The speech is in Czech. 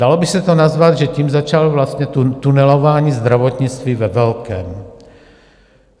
Dalo by se to nazvat, že tím začalo vlastně tunelování zdravotnictví ve velkém.